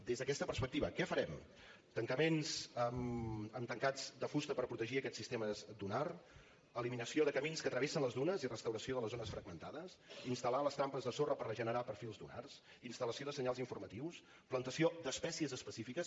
des d’aquesta perspectiva què farem tancaments amb tancats de fusta per protegir aquest sistema dunar eliminació de camins que travessen les dunes i restauració de les zones fragmentades instal·lar les trampes de sorra per regenerar perfils dunars instal·lació de senyals informatius plantació d’espècies específiques